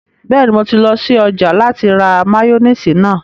Bẹ́ẹ̀ni, mo ti lọ sí ọjà láti ra máyóníìsì náà